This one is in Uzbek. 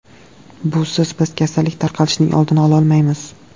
Busiz biz kasallik tarqalishining oldini ololmaymiz.